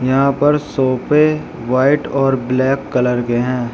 यहां पर सोफे व्हाइट और ब्लैक कलर के हैं।